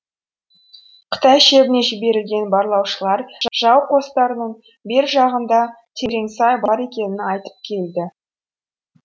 қытай шебіне жіберілген барлаушылар жау қостарының бер жағында терең сай бар екенін айтып келді